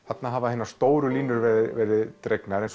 þarna hafa hinar stóru línur verið dregnar en